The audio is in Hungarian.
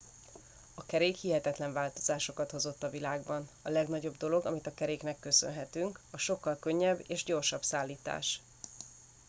a kerék hihetetlen változásokat hozott a világban a legnagyobb dolog amit a keréknek köszönhetünk a sokkal könnyebb és gyorsabb szállítás